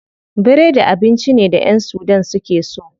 Biredi abinci ne da ƴan sudan suke so.